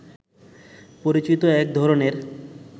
পরিচিত একধরনের